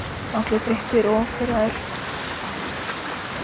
Allir þreyttir og pirraðir.